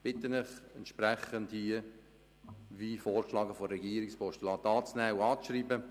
Ich bitte Sie, das Postulat entsprechend dem Vorschlag der Regierung anzunehmen und abzuschreiben.